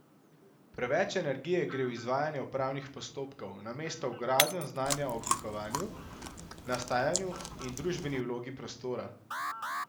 Preveč energije gre v izvajanje upravnih postopkov, namesto v gradnjo znanja o oblikovanju, nastajanju in družbeni vlogi prostora.